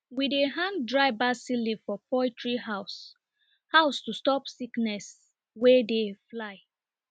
we dey hang dry basil leaf for poultry house house to stop sickness wey dey fly